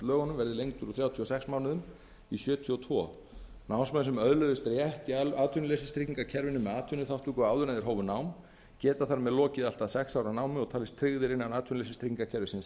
lögunum verði lengdur úr þrjátíu og sex mánuðum í sjötíu og tvö námsmenn sem öðluðust rétt í atvinnuleysistryggingakerfinu með atvinnuþátttöku áður en þeir hófu námið geta þar með lokið allt að sex ára námi og talist tryggðir innan atvinnuleysistryggingakerfisins